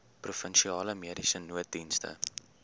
provinsiale mediese nooddienste